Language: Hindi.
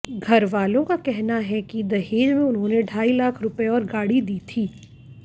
घरवालों का कहना है कि दहेज में उन्होंने ढाई लाख रुपये और गाड़ी दी थी